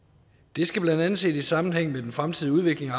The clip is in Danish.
det skal blandt andet ses i sammenhæng med den fremtidige udvikling